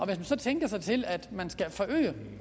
man så tænker sig til at